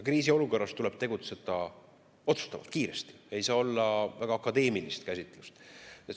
Kriisiolukorras tuleb tegutseda otsustavalt, kiiresti, ei saa olla väga akadeemilist käsitlust.